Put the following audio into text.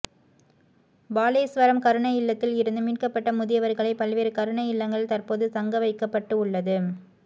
பாலேஸ்வரம் கருணை இல்லத்தில் இருந்து மீட்கப்பட்ட முதியவரக்ளை பல்வேறு கருணை இல்லங்களில் தற்போது தங்க வைக்கப்பட்டு உள்ளது